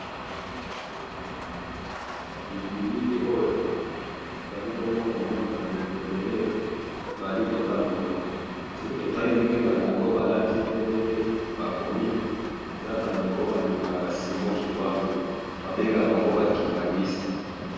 Batu oyo, eza ba oyo bandimaka Simon kimbangu, babengaka bango ba Kibanguiste.